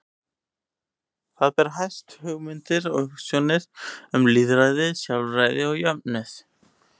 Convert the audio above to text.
Þar ber hæst hugmyndir og hugsjónir um lýðræði, sjálfræði og jöfnuð.